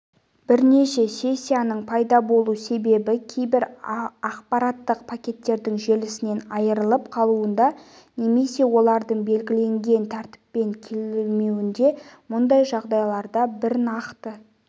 бірнеше сессияның пайда болу себебі кейбір ақпараттық пакеттердің желісінен айырылып қалуында немесе олардың белгіленген тәртіппен келмеуінде мұндай жағдайларда бір нақты